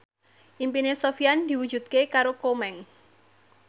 impine Sofyan diwujudke karo Komeng